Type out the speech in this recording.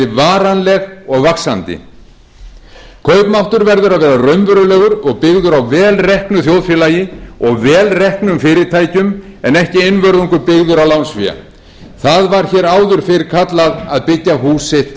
varanleg og vaxandi kaupmáttur verður að vera raunverulegur og byggður á vel reknu þjóðfélagi og vel reknum fyrirtækjum en ekki einvörðungu byggður á lánsfé það var hér áður fyrr kallað að byggja hús sitt